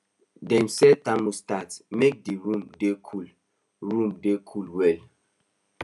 them set the thermostat make the room dey cool room dey cool well